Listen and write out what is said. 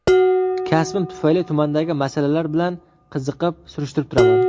Kasbim tufayli tumandagi masalalar bilan qiziqib, surishtirib turaman.